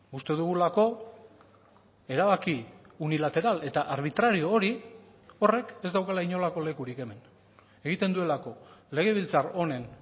uste dugulako erabaki unilateral eta arbitrario hori horrek ez daukala inolako lekurik hemen egiten duelako legebiltzar honen